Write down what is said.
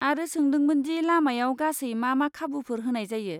आरो सोंदोंमोन दि लामायाव गासै मा मा खाबुफोर होनाय जायो।